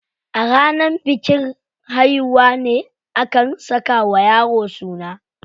A ranar bikin haihuwa ne aka saka wa yaro suna.